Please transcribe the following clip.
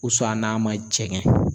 n'a ma jɛŋɛ